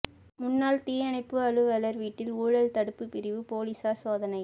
முன்னாள் தீயணைப்பு அலுவலா் வீட்டில் ஊழல் தடுப்பு பிரிவு போலீஸாா் சோதனை